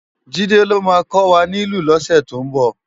Jide ló má kòwá nilú lósè tó nbò